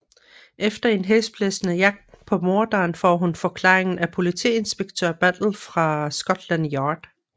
Efter en hæsblæsende jagt på morderen får hun forklaringen af Politiinspektør Battle fra Scotland Yard